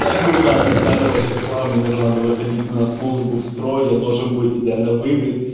да куда там пятого числа мне уже надо выходить на службу в строй я должен быть идеально выбрит